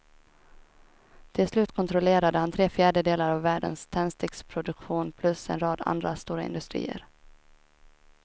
Till slut kontrollerade han tre fjärdedelar av världens tändsticksproduktion plus en rad andra stora industrier.